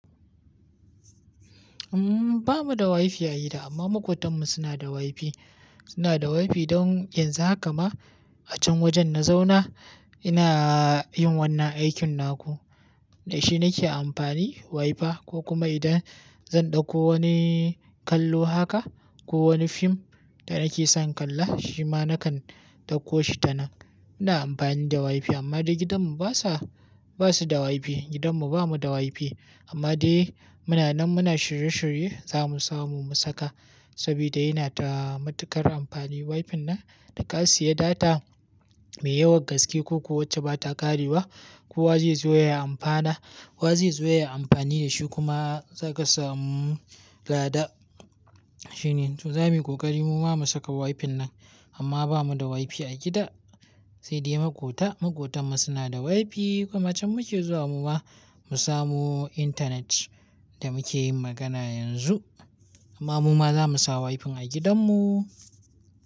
Umm, ba mu da WiFi a gida amma maƙotanmu suna da WiFi. Suna da WiFi don yanzu haka ma a can wajen na zauna ina yin wannan aikin naku. Da shi nake amfani WiFi ko kuma idan zan ɗauko wani kallo haka ko wani fim da nake son kalla shi ma na kan ɗauko shi ta nan. Ina amfani da WiFi amma na gidanmu basa, basa da WiFi. Gidanmu ba mu da WiFi amma dai muna nan muna shirye shirye za mu samu mu saka saboda yana da matuƙar amfani WiFi nan. Da ka siya data mai yawan gaske ko ku wacce ba ta ƙarewa, kowa zai zo ya amfana. Kowa zai zo ya yi amfani da shi kuma za ka samu gada. Shi ne, to za muyi ƙoƙari mu ma mu saka WiFi nan amma ba mu da WiFi a gida sai dai maƙota. Maƙotanmu suna da WiFi kuma can muke zuwa mu ma mu samu intanet da muke yin magana yanzu. Amma mu ma za mu sa WiFi a gidanmu.